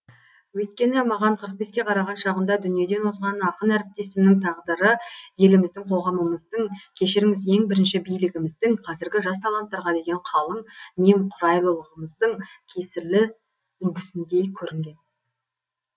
өйткені маған қырық беске қараған шағында дүниеден озған ақын әріптесімнің тағдыры еліміздің қоғамымыздың кешіріңіз ең бірінші билігіміздің қазіргі жас таланттарға деген қалың немқұрайлығымыздың кесірлі үлгісіндей көрінген